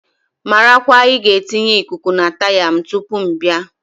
Marakwa ị ga etinye Ịkụku na taya m tupu ị bịa!